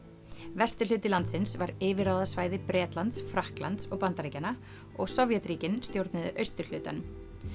vesturhluti landsins var yfirráðasvæði Bretlands Frakklands og Bandaríkjanna og Sovétríkin stjórnuðu austurhlutanum